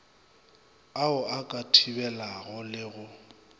ao a ka thibelwago le